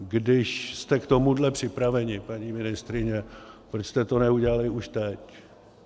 Když jste k tomuhle připraveni, paní ministryně, proč jste to neudělali už teď?